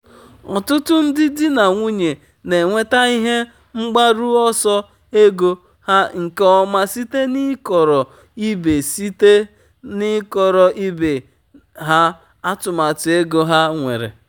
ọtụtụ ndị di na nwunye na-enweta ihe mgbaru ọsọ ego ha nke ọma site n'ịkọrọ ibe site n'ịkọrọ ibe ha atụmatụ ego ha nwere.